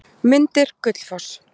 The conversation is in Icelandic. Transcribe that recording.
Myndir: Gullfoss.